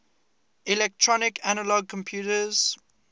electronic analog computers